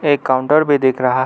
एक काउंटर भी दिख रहा है।